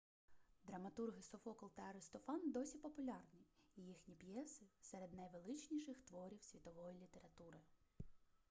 драматурги софокл та аристофан досі популярні і їхні п'єси серед найвеличніших творів світової літератури